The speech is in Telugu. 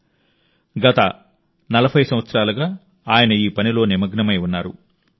ఆయన గత 40 సంవత్సరాలుగా ఈ పనిలో నిమగ్నమై ఉన్నారు